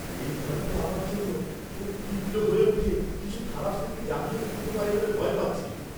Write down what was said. এই গানটা আমার জন্য খুব তীব্র হয়ে উঠে কিছু খারাপ স্মৃতি জাগিয়ে তুলতে পারে বলে ভয় পাচ্ছি।